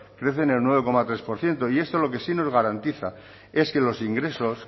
crece en el nueve coma tres por ciento y esto lo que sí nos garantiza es que los ingresos